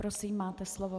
Prosím, máte slovo.